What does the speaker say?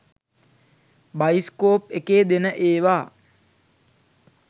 Bioscope එකේ දෙන ඒවා.